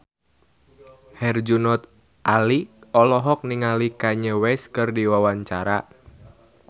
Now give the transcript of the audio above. Herjunot Ali olohok ningali Kanye West keur diwawancara